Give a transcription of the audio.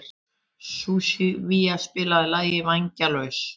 Sunníva, spilaðu lagið „Vængjalaus“.